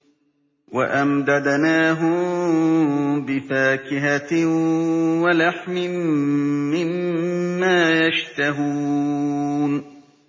وَأَمْدَدْنَاهُم بِفَاكِهَةٍ وَلَحْمٍ مِّمَّا يَشْتَهُونَ